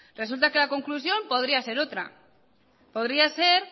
resulta que la conclusión podría ser otra podría ser